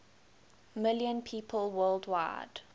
million people worldwide